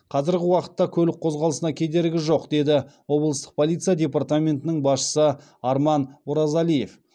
қазіргі уақытта көлік қозғалысына кедергі жоқ деді облыстық полиция департаментінің басшысы арман оразалиев